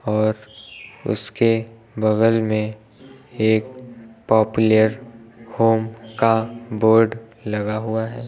और उसके बगल में एक पॉप्युलर होम का बोर्ड लगा हुआ है।